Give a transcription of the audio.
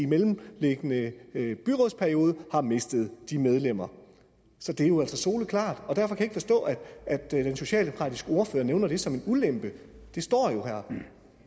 mellemliggende byrådsperiode har mistet de medlemmer så det er jo altså soleklart og derfor kan jeg ikke forstå at at den socialdemokratiske ordfører nævner det som en ulempe